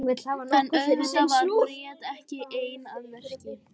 En auðvitað var Bríet ekki ein að verki.